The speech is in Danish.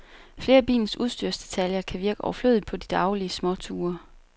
Flere af bilens udstyrsdetaljer kan virke overflødige på de daglige småture.